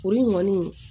Olu kɔni